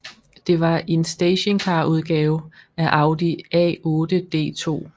Det var en stationcarudgave af Audi A8 D2